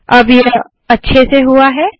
अब यह अच्छे से हुआ है